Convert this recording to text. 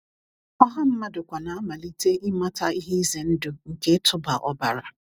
Ọha mmadụ kwa na-amalite ịmata ihe ize ndụ nke ịtụba ọbara.